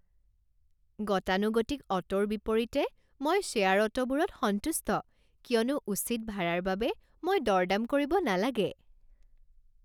গতানুগতিক অটোৰ বিপৰীতে মই শ্বেয়াৰ অটোবোৰত সন্তুষ্ট কিয়নো উচিত ভাৰাৰ বাবে মই দৰ দাম কৰিব নালাগে।